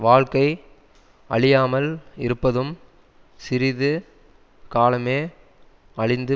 வாழ்க்கை அழியாமல் இருப்பதும் சிறிது காலமே அழிந்து